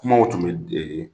Kumaw tun bɛ